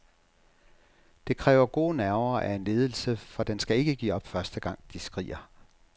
Det kræver gode nerver af en ledelse, for den skal ikke give op første gang, de skriger.